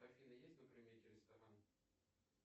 афина есть на примете ресторан